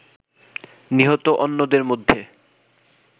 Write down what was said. নিহত অন্যদের মধ্যে